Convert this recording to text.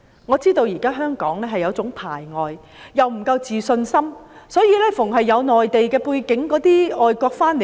我知道香港現時有一種排外心態，因為自信心不足，凡有內地背景便排拒。